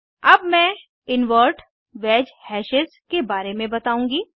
अब मैं invert wedge hashes के बारे में बताउंगी